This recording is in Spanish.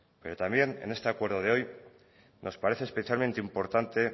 pero también en este acuerdo de hoy nos parece especialmente importante